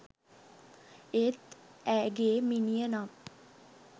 ඒත් ඇගේ මිනිය නම්.